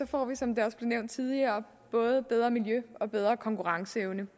får vi som det også blev nævnt tidligere både bedre miljø og bedre konkurrenceevne